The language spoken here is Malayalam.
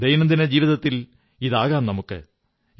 ദൈനംദിന ജീവിതത്തിലും നമുക്ക് ഇതാകാം